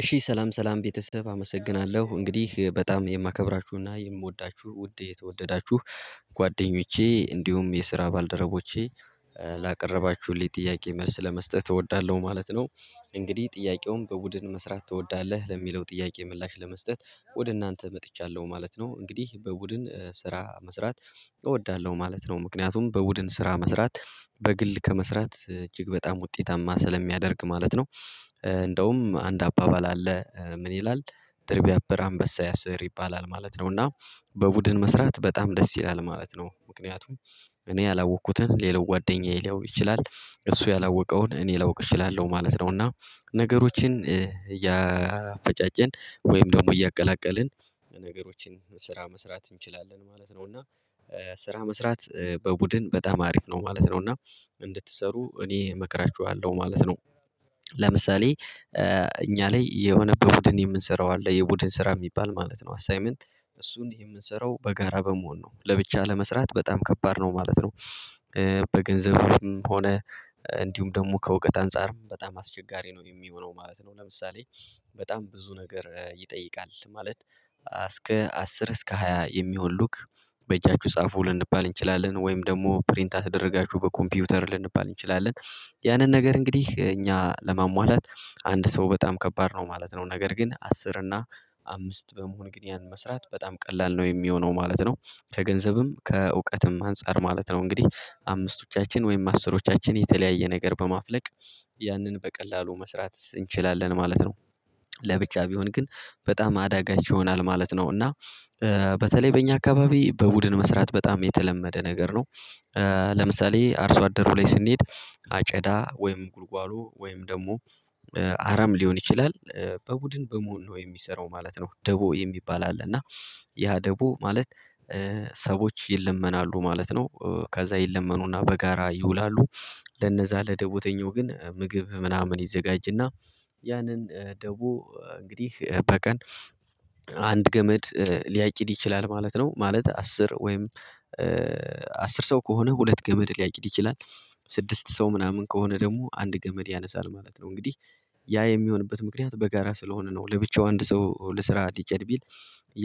እሺ ሰላም ሰላም ቤተሰብ አመሰግናለሁ እንግዲህ በጣም የማከብራችሁና የምወዳችሁ ውድ የተወደዳችሁ ጓደኞቼ እንዲሁም የስራ ባልደረቦቼ ላቀረባችሁልኝ ጥያቄ መልስ ለመስጠት እወዳለሁ ማለት ነው። እንግዲህ ጥያቄውን በቡድን መስራት ትወዳለህ ለሚለው ጥያቄ ምላሽ ለመስጠት ወደ እናንተ መጥቻለሁ ማለት ነው። እንግዲህ በቡድን ስራ መስራት እወዳለሁ ማለት ነው ምክንያቱም በቡድን ስራ መስራት በግል ከመስራት እጅግ በጣም ውጤታማ ስለሚያደርግ ማለት ነው። እንደውም አንድ አባባል አለ ምን ይላል? ድር ቢያብር አንበሳ ያስር ይባላል ማለት ነው። እና በቡድን መስራት በጣም ደስ ይላል ማለት ነው። ምክንያቱም እኔ ያላወቅኩትን ሌላው ጓደኛዬ ሊያውቅ ይችላል እሱ ያላወቀውን እኔ ላውቅ እችላለሁ ማለት ነው። እና ነገሮችን እያፈጫጨን ወይም ደግሞ እያቀላቀልን ነገሮችን ስራ መስራት እንችላለን ማለት ነው። እና ስራ መስራት በቡድን በጣም አሪፍ ነው ማለት ነው። እና እንድትሰሩ እኔ እመክራችኋለሁ ማለት ነው። ለምሳሌ እኛ ላይ የሆነ በቡድን የምንሰራው አለ የቡድን ስራ የሚባል ማለት ነው አሳይመንት እሱን የምንሰራው በጋራ በመሆን ነው ለብቻ ለመስራት በጣም ከባድ ነው ማለት ነው። በገንዘብም ሆነ እንዲሁም ደግሞ ከእውቀት አንፃርም በጣም አስቸጋሪ ነው የሚሆነው ማለት ነው። ለምሳሌ በጣም ብዙ ነገር ይጠይቃል ማለት እስከ አስር እስከ ሃያ የሚሆን ሉክ በእጃችሁ ጻፉ ልንባል እንችላለን ወይም ደግሞ ፕሪንት አስደረጋችሁ በኮምፒውተር ልንባል እንችላለን ያንን ነገር እንግዲህ እኛ ለማሟላት አንድ ሰው በጣም ከባድ ነው ማለት ነው። ነገር ግን አስር እና አምስት በመሆን እንግዲህ ያንን መስራት በጣም ቀላል ነው የሚሆነው ማለት ነው። ከገንዘብም ከእውቀትም አንፃር ማለት ነው እንግዲህ አምስቶቻችን ወይም አስሮቻችን የተለያየ ነገር በማፍለቅ ያንን በቀላሉ መስራት እንችላለን ማለት ነው። ለብቻ ቢሆን ግን በጣም አዳጋች ይሆናል ማለት ነው። እና በተለይ በእኛ አካባቢ በቡድን መስራት በጣም የተለመደ ነገር ነው። ለምሳሌ አርሶ አደሩ ላይ ስንሄድ አጨዳ ወይም ጉልጓሎ ወይም ደግሞ አረም ሊሆን ይችላል። በቡድን በመሆን ነው የሚሰራው ማለት ነው። ደቦ የሚባል አለ እና ያ ደቦ ማለት ሰዎች ይለመናሉ ማለት ነው። ከዛ ይለመኑና በጋራ ይውላሉ ለነዛ ለደቦተኛው ግን ምግብ ምናምን ይዘጋጅና ያንን ደቦ እንግዲህ በቀን አንድ ገመድ ሊያጭድ ይችላል ማለት ነው። ማለት አስር ወይም አስር ሰው ከሆነ ሁለት ገመድ ሊያጭድ ይችላል። ስድስት ሰው ምናምን ከሆነ ደግሞ አንድ ገመድ ያነሳል ማለት ነው። እንግዲህ ያ የሚሆንበት ምክንያት በጋራ ስለሆነ ነው። ለብቻው አንድ ሰው ልስራ ልጨድ ቢል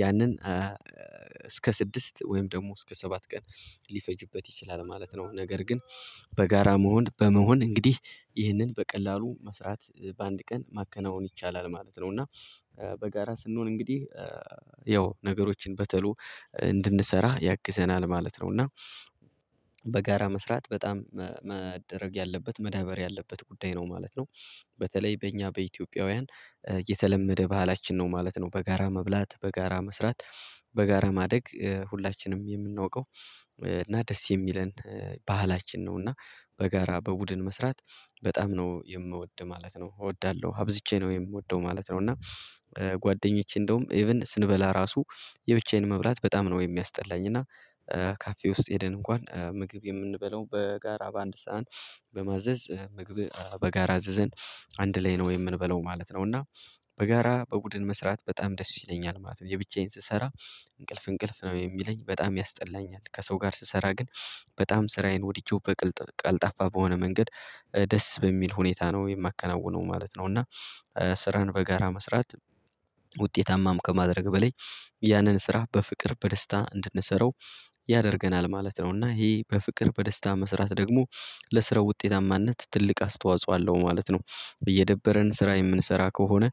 ያንን እስከ ስድስት ወይም ደግሞ እስከ ሰባት ቀን ሊፈጅበት ይችላል ማለት ነው። ነገር ግን በጋራ መሆን በመሆን እንግዲህ ይህንን በቀላሉ መስራት በአንድ ቀን ማከናወን ይቻላል ማለት ነው። እና በጋራ ስንሆን እንግዲህ ያው ነገሮችን በተሎ እንድንሰራ ያግዘናል ማለት ነው። እና ነው እና በጋራ መስራት በጣም መደረግ ያለበት መዳበር ያለበት ጉዳይ ነው ማለት ነው። በተለይ በእኛ በኢትዮጵያውያን የተለመደ ባህላችን ነው ማለት ነው። በጋራ መብላት በጋራ መስራት በጋራ ማደግ ሁላችንም የምናውቀው እና ደስ የሚለን ባህላችን ነው። እና በጋራ በቡድን መስራት በጣም ነው የምወድ ማለት ነው እወዳለሁ አብዝቼ ነው የምወደው ማለት ነው። እና ጓደኞቼ እንደውም ኢቭን ስንበላ ራሱ የብቻዬን መብላት በጣም ነው የሚያስጠላኝ። እና ካፌ ውስጥ ሄደን እንኳን ምግብ የምንበለው በጋራ በአንድ ሰዓን በማዘዝ ምግብ በጋራ አዝዘን አንድ ላይ ነው የምንበለው ማለት ነው። እና በጋራ በቡድን መስራት በጣም ደስ ይለኛል ማለት ነው። የብቻዬን ስሰራ እንቅልፍ እንቅልፍ ነው የሚለኝ በጣም ያስጠላኛል ከሰው ጋር ስሰራ ግን በጣም ስራዬን ወድጀው በቅልጥ ቀልጣፋ በሆነ መንገድ ደስ በሚል ሁኔታ ነው የማከናውነው ማለት ነው። እና ስራን በጋራ መስራት ውጤታማም ከማድረግ በላይ ያንን ስራ በፍቅር በደስታ እንድንሰራው ያደርገናል ማለት ነው። እና ይሄ በፍቅር በደስታ መስራት ደግሞ ለስራው ውጤታማነት ትልቅ አስተዋጽኦ አለው ማለት ነው። እየደበረን ስራ የምንሰራ ከሆነ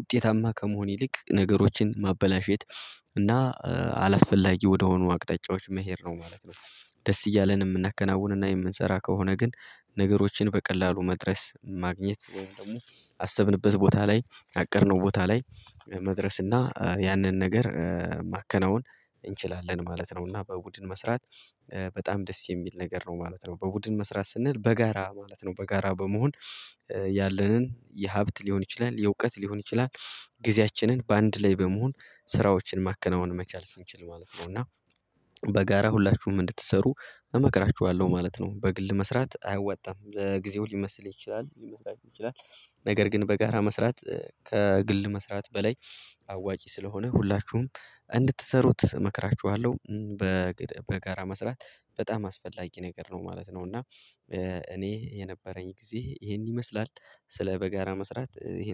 ውጤታማ ከመሆን ይልቅ ነገሮችን ማበላሸት እና አላስፈላጊ ወደሆኑ አቅጣጫዎች መሄድ ነው ማለት ነው። ደስ እያለን የምናከናውንና የምንሰራ ከሆነ ግን ነገሮችን በቀላሉ መድረስ ማግኘት ወይም ደግሞ አሰብንበት ቦታ ላይ አቀድነው ቦታ ላይ መድረስ እና ያንን ነገር ማከናወን እንችላለን ማለት ነው። እና በቡድን መስራት በጣም ደስ የሚል ነገር ነው ማለት ነው። በቡድን መስራት ስንል በጋራ ማለት ነው። በጋራ በመሆን ያለንን የሀብት ሊሆን ይችላል የእውቀት ሊሆን ይችላል። ጊዜያችንን በአንድ ላይ በመሆን ስራዎችን ማከናወን መቻል ስንችል ማለት ነው። እና በጋራ ሁላችሁም እንድትሰሩ እመክራችኋለሁ ማለት ነው። በግል መስራት አያወጣም ለጊዜው ሊመስል ይችላል ሊመስላችሁ ይችላል ነገር ግን በጋራ መስራት ከግል መስራት በላይ አዋጪ ስለሆነ ሁላችሁም እንድትሰሩት እመክራችኋለሁ። በጋራ መስራት በጣም አስፈላጊ ነገር ነው ማለት ነው። እና እኔ የነበረኝ ጊዜ ይሄን ይመስላል ስለ በጋራ መስራት።